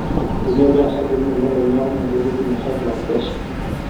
tenekwet osarge lini nelo neeku medou neji ina high blood pressure